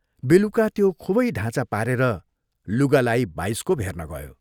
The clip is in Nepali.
बेलुका त्यो खूबै ढाँचा पारेर लुगा लाई बाइस्कोप हेर्न गयो।